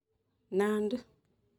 Nandi